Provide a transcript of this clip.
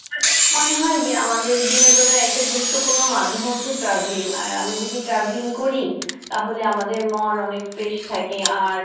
আমার কাছে মনে হয় যে আমাদের বিনোদনের একটা গুরুত্বপুর্ন্য মাধ্যম হচ্ছে যে travelling আর আমরা যদি travelling করি, তাহলে আমাদের মন অনেক fresh থাকে আর